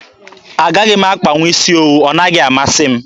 Agaghị m akpanwu isi owu. Ọ naghị amasị m.